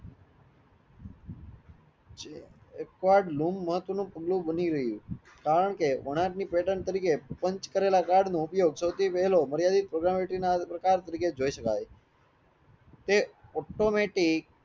બની રહીયુ કારણ કે ઓટની પેટર્ન તરીકે પાંચ કરેલા કાર્ડ નો ઉપયોગ સૌથી વહેલો પ્રકાશ તરીકે જોય શકાય તે automatic